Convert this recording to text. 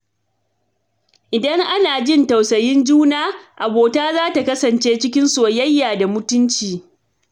Idan ana jin tausayin juna, abota za ta kasance cikin soyayya da mutunci.